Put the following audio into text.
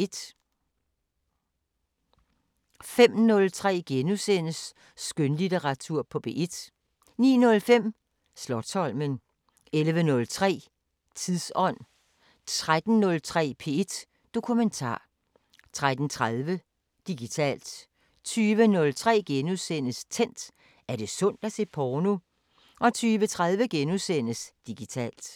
05:03: Skønlitteratur på P1 * 09:05: Slotsholmen 11:03: Tidsånd 13:03: P1 Dokumentar 13:30: Digitalt 20:03: Tændt: Er det sundt at se porno? * 20:30: Digitalt *